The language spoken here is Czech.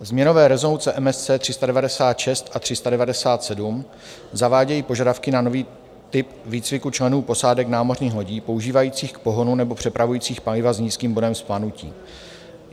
Změnové rezoluce MSC 396 a 397 zavádějí požadavky na nový typ výcviku členů posádek námořních lodí používajících k pohonu nebo přepravujících paliva s nízkým bodem vzplanutí.